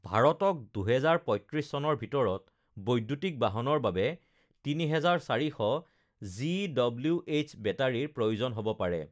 ভাৰতক ২০৩৫ চনৰ ভিতৰত বৈদ্যুতিক বাহনৰ বাবে ৩,৪০০ জিডব্লিউএইচ বেটাৰিৰ প্ৰয়োজন হ'ব পাৰে